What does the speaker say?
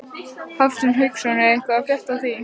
Hafsteinn Hauksson: Er eitthvað að frétta af því?